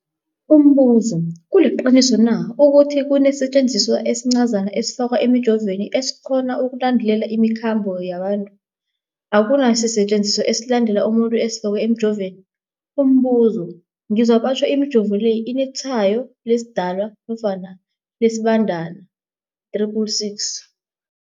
Umbuzo, kuliqiniso na ukuthi kunesisetjenziswa esincazana esifakwa emijovweni, esikghona ukulandelela imikhambo yabantu? Akuna sisetjenziswa esilandelela umuntu esifakwe emijoveni. Umbuzo, ngizwa batjho imijovo le inetshayo lesiDalwa nofana lesiBandana 666.